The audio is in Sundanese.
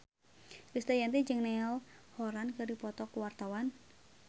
Krisdayanti jeung Niall Horran keur dipoto ku wartawan